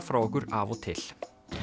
frá okkur af og til